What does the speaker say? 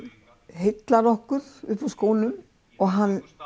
heillar okkur upp úr skónum og hann